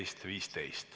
Istungi lõpp kell 12.15.